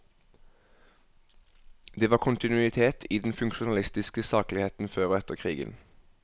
Det var kontinuitet i den funksjonalistiske sakligheten før og etter krigen.